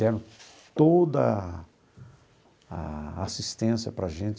Deram toda a a assistência para a gente